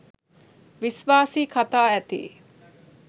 විශ්වාසී කතා ඇති